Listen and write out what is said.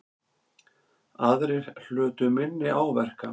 Aðrir hlutu minni áverka